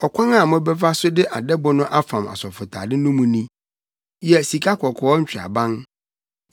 “Ɔkwan a mobɛfa so de adɛbo no afam asɔfotade no mu ni: yɛ sikakɔkɔɔ ntweaban.